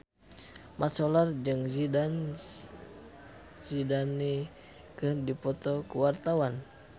Mat Solar jeung Zidane Zidane keur dipoto ku wartawan